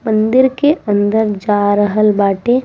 मंदिर के अंदर जा रहल बाटे।